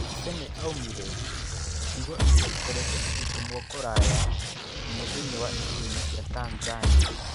"Kibe nĩaumire", ciugo iria ikoretwo igĩtumwo kũraya mũno thĩinĩ wa icigoĩnĩ cia Tanzania.